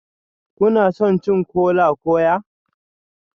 Kuna son cin kola-kwaya?